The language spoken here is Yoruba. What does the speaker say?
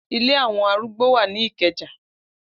Ile awon arùgbọ wa ni Ikeja.